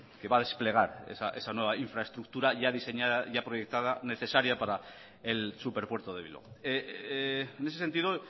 que va a desplegar esa nueva infraestructura ya diseñada ya proyectada necesaria para el superpuerto de bilbao en ese sentido